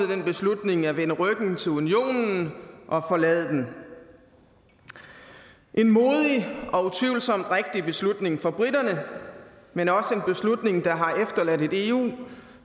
den beslutning at vende ryggen til unionen og forlade den en modig og utvivlsomt rigtig beslutning for briterne men også en beslutning der har efterladt et eu